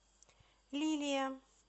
лилия